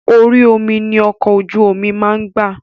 Orí omi ni ọkọ̀ ojú máa ń gbà.